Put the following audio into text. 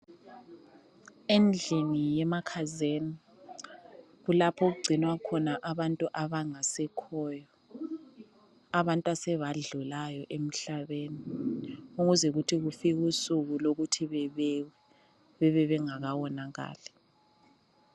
Endlini yemakhazini kulapho okungcinwa khona abantu abangasekheyo abantu asebadlulayo emhlabeni ukuze ukuthi kufika usuku lokuthi bebekwe bebebengakawonakali.